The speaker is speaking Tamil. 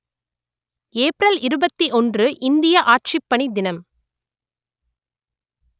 ஏப்ரல் இருபத்தி ஒன்று இந்திய ஆட்சிப்பணி தினம்